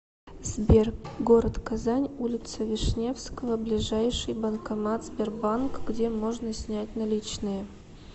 сбер город казань улица вишневского ближайший банкомат сбербанк где можно снять наличные